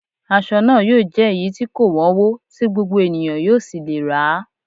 Aṣọ náà yóò jẹ́ èyí tí kò wọ́nwó, tí gbogbo ènìyàn yóò sì lè rà á